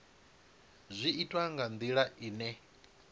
zwi itwa nga ndila ine